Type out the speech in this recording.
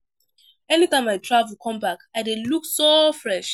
Anytime I travel come back I dey look so fresh